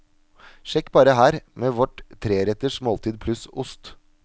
Sjekk bare her, med vårt tre retters måltid pluss ost.